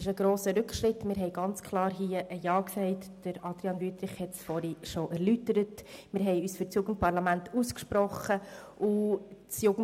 Grossrat Wüthrich hat bereits erläutert, dass wir uns klar für ein Jugendparlament ausgesprochen hatten.